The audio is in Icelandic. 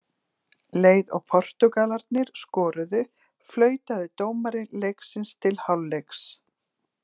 Leið og Portúgalarnir skoruðu, flautaði dómari leiksins til hálfleiks.